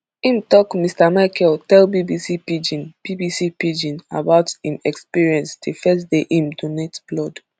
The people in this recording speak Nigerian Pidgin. im tok mr michael tell bbc pidgin bbc pidgin about im experience di first day im donate blood